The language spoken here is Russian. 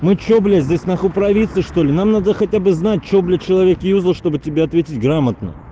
ну что блять здесь на хуй провинция что ли нам надо хотя бы знать что блять человек юзал чтобы тебе ответить грамотно